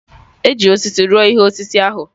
E ji osisi rụọ ihe osise ahụ.